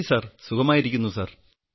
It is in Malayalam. നന്ദി സർ സുഖമായിരിക്കുന്നു സർ